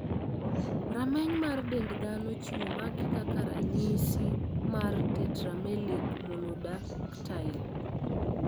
Rameny mar dend dhano chiwo magi kaka ranyisis mar Tetramelic monodactyly.